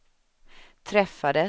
träffades